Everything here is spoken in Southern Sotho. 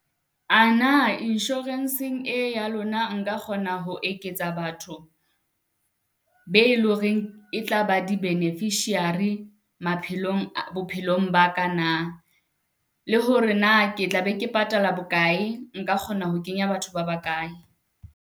A na insurance-ng e ya lona nka kgona ho eketsa batho be loreng e tlaba di beneficiary maphelong, bophelong ba ka na? Le hore na ke tla be ke patala bokae, nka kgona ho kenya batho ba bakae?